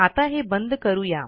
आता हे बंद करू या